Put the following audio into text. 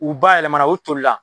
U bayɛlɛmana u toli la.